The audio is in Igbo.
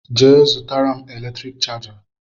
Je zụtara m eletrik chaja